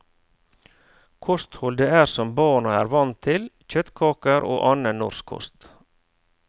Kostholdet er som barna er vant til, kjøttkaker og annen norsk kost.